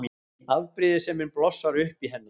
Afbrýðisemin blossar upp í henni.